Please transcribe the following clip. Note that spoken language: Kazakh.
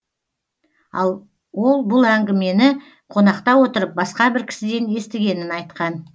ал ол бұл әңгімені қонақта отырып басқа бір кісіден естігенін айтқан